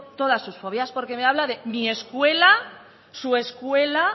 todas sus fobias porque me habla de mi escuela su escuela